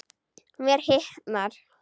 Mér hitnar.